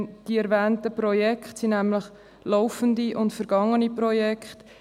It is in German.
Die erwähnten Projekte sind nämlich laufende und vergangene Projekte.